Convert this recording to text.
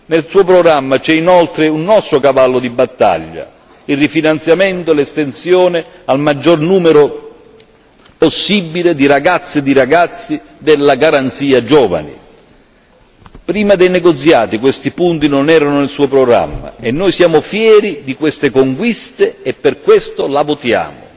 Nel suo programma c'è inoltre un nostro cavallo di battaglia il rifinanziamento e l'estensione al maggior numero possibile di ragazze e di ragazzi della Garanzia giovani. Prima dei negoziati questi punti non erano nel Suo programma e noi siamo fieri di queste conquiste e per questo La votiamo.